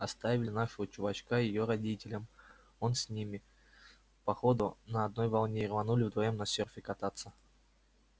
оставили нашего чувачка её родителям он с ними по ходу на одной волне и рванули вдвоём на серфе кататься